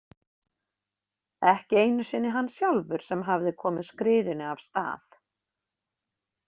Ekki einu sinni hann sjálfur sem hafði komið skriðunni af stað.